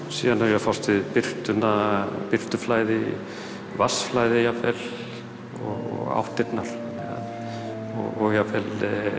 síðan er ég að fást við birtuna birtuna birtuflæði vatnsflæði og áttirnar og jafnvel